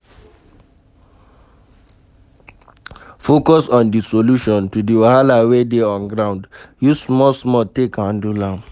Focus on di solution to the wahala wey dey on ground, use small small take handle am